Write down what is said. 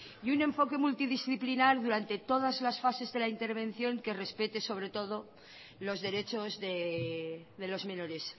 y un enfoque multidisciplinar durante todas las fases de la intervención que respete sobre todo los derechos de los menores